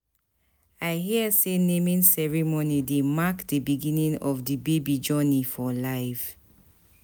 I hear sey naming ceremony dey mark di beginning of di baby journey for life.